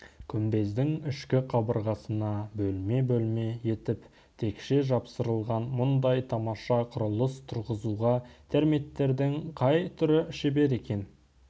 күмбездің ішкі қабырғасына бөлме-бөлме етіп текше жапсырылған мұндай тамаша құрылыс тұрғызуға термиттердің қай түрі шебер екен